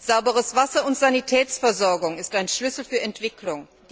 Sauberes Wasser und Sanitätsversorgung sind ein Schlüssel für Entwicklung.